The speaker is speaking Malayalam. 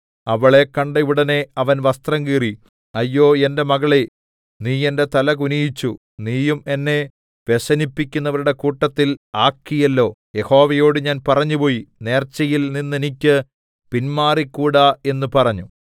അവളെ കണ്ടയുടനെ അവൻ വസ്ത്രം കീറി അയ്യോ എന്റെ മകളേ നീ എന്റെ തല കുനിയിച്ചു നീയും എന്നെ വ്യസനിപ്പിക്കുന്നവരുടെ കൂട്ടത്തിൽ ആക്കിയല്ലോ യഹോവയോടു ഞാൻ പറഞ്ഞുപോയി നേർച്ചയിൽ നിന്ന് എനിക്ക് പിന്മാറിക്കൂടാ എന്ന് പറഞ്ഞു